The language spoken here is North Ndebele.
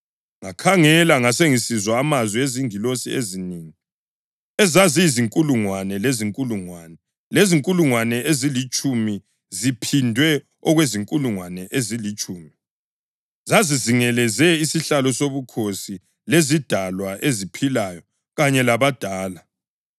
Ngakhangela ngasengisizwa amazwi ezingilosi ezinengi, ezaziyizinkulungwane lezinkulungwane, lezinkulungwane ezilitshumi ziphindwe okuzinkulungwane ezilitshumi. Zazizingeleze isihlalo sobukhosi lezidalwa eziphilayo kanye labadala.